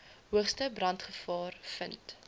hoogste brandgevaar vind